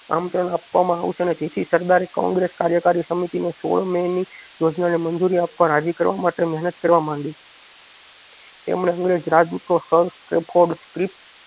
આમંત્રણ આપવામાં આવશે ને જેથી સરદારે કોગ્રેસ કાર્યકારી સમિતિને સોળ મે ની યોજનાને મજૂરી આપવામાં રાજી કરવા માટે મહેનત કરવામાં મંડી તેમને અંગ્રેજ રાજદૂતો